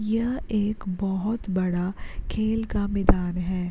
यह एक बहुत बड़ा खेल का मैदान है।